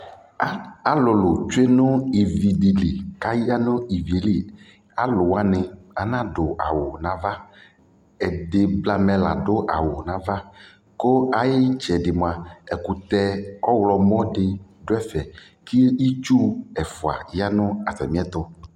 alʋlʋ twɛ nʋ ivi dili kʋ aya nʋ iviɛ li alʋ wani ana dʋ awʋ nʋ aɣa, ɛdi blamɛ la dʋ awʋ nʋaɣa kʋ ayi kyɛdi mʋa ɛkʋtɛ ɔwlɔmʋ di dʋ ɛƒɛ kʋ itsʋ ɛƒʋɛ yanʋ atami ɛtʋ